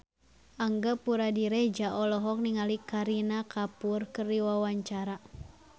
Angga Puradiredja olohok ningali Kareena Kapoor keur diwawancara